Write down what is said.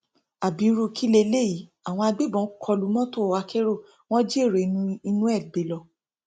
ábírú kí leléyìí àwọn agbébọn kó lu mọtò akérò wọn jí èrò inú ẹ gbé lọ